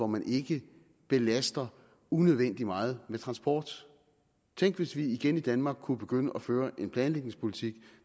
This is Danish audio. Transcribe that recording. man ikke belaster unødvendig meget med transport tænk hvis vi igen i danmark kunne begynde at føre en planlægningspolitik